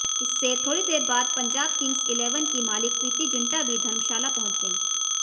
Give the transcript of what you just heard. इससे थोड़ी देर बाद पंजाब किंम्स इलेवन की मालिक प्रिती जिन्टा भी धर्मशाला पहुंच गई